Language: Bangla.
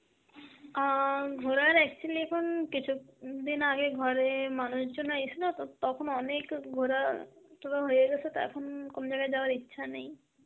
আঁ ঘোরার actually এখন কিছু উম দিন আগে ঘরে মানুষজন আইসিল তো, তখন অনেক ঘোরা তো হয়েগেসে, তা এখন কোন জায়গায় যাওয়ার ইচ্ছা নেই.